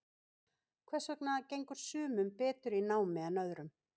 Hvers vegna gengur sumum betur í námi en öðrum?